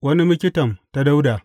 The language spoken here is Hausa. Wani miktam ta Dawuda.